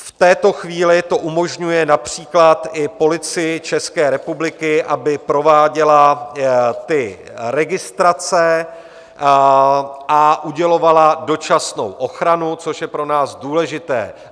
V této chvíli to umožňuje například i Policii České republiky, aby prováděla ty registrace a udělovala dočasnou ochranu, což je pro nás důležité.